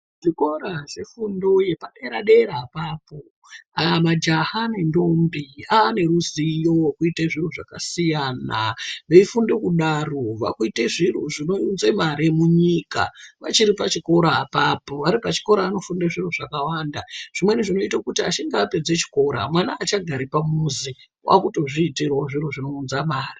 Zvikora zvefundo yepadera dera apapo majaha nendombi ane ruziyo rwekuite zviro zvakasiyana . Veifunde kudaro vakuite zviro zvinounze mari munyika pachiri pachikora apapo. Vari pachikora anofunde zviro zvakawanda zvimweni zvinoite kuti achinge apedze chikora mwana aachagari pamuzi wakutozviitirewo zviro zvinounza mari.